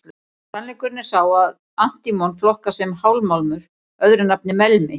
Sannleikurinn er sá að antímon flokkast sem hálfmálmur, öðru nafni melmi.